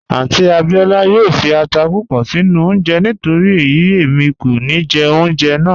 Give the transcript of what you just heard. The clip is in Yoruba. Àunty Abíọla yoo fí àtà púpọ̀ sinu ọ̀unje nítorí eyi emi kò ní jẹ ọ̀unjẹ́ náà